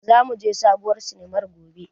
Za mu je sabuwar sinimar gobe.